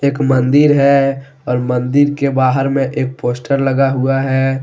एक मंदिर है और मंदिर के बाहर में एक पोस्टर लगा हुआ है।